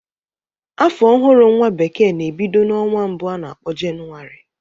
Afọ ọhụrụ nwa bekee na-ebido n'ọnwa mbụ a na-akpọ jenuari